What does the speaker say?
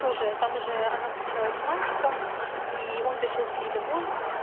тоже там же она встречалась с мальчиком и он пришёл к ней домой